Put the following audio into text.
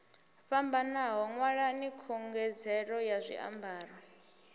fhambanaho ṅwalani khungedzelo ya zwiambaro